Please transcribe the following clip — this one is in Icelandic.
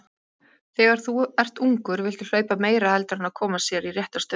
Þegar þú ert ungur viltu hlaupa meira heldur en að koma sér í rétta stöðu.